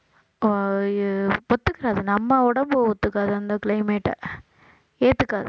ஒத்துக்காது நம்ம உடம்பு ஒத்துக்காது அந்த climate ஏத்துக்காது